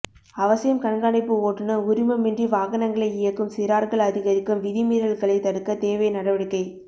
அவசியம் கண்காணிப்பு ஓட்டுனர் உரிமமின்றி வாகனங்களை இயக்கும் சிறார்கள் அதிகரிக்கும் விதிமீறல்களை தடுக்க தேவை நடவடிக்கை